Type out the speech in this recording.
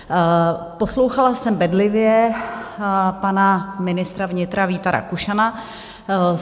Poslouchala jsem bedlivě pana ministra vnitra Víta Rakušana.